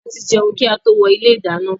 A ti jẹun kí a tó wọ ilé ìdáná